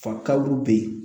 Fakaliw bɛ ye